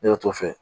Ne y'o t'o fɛ